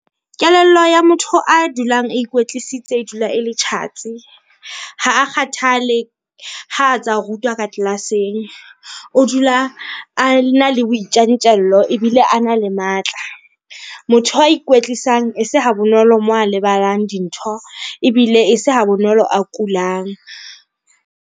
Kelello ya motho a dulang a ikwetlisitse e dula ele tjhatsi. Ha a kgathale ha a tsa rutwa ka class-eng. O dula ana le boitjantjello ebile ana le matla. Motho a ikwetlisang e se ha bonolo moo a lebalang dintho ebile e se ha bonolo a kulang.